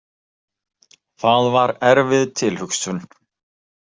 Það var erfið tilhugsun.